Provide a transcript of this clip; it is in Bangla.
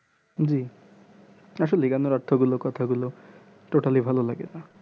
হুম আসলে এই গান এর অর্থ গুলো কথা গুলো totaly ভালো লাগে